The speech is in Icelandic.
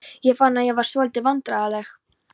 Ég fann að ég varð svolítið vandræðaleg.